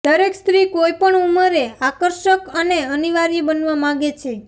દરેક સ્ત્રી કોઈ પણ ઉંમરે આકર્ષક અને અનિવાર્ય બનવા માંગે છે